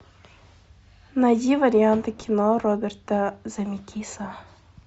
найди варианты кино роберта земекиса